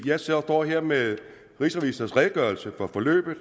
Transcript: jeg står her med rigsrevisors redegørelse for forløbet og